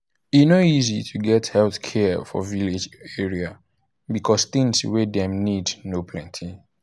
e no easy to get health care for village area because things wey dem need no plenty.